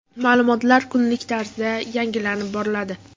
Ma’lumotlar kunlik tarzda yangilanib boriladi.